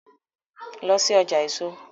Lọ sí ọjà èso!